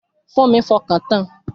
Fúnmi fọkàn tan